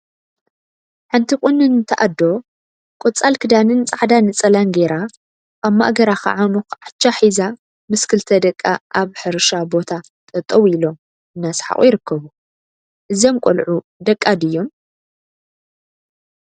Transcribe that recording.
ሓንቲ ቁንንቲ አዶ ቆፃል ክዳንን ፃዕዳ ነፃላን ገይራ አብ ማእገራ ከዓ መኩዓቻ ሒዛ ምስ ክልተ ደቃ አብ ሕርሻ ቦታ ጠጠወ ኢሎም እናሰሓቁ ይርከቡ፡፡ እዞም ቆልዑ ደቃ ድዮም?